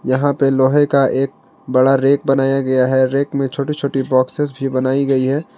यहां पे लोहे का एक बड़ा रेक बनाया गया है रेक में छोटी छोटी बॉक्सेस भी बनाई गई है।